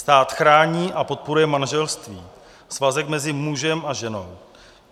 "Stát chrání a podporuje manželství, svazek mezi mužem a ženou."